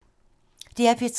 DR P3